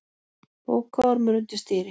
Bókaormur undir stýri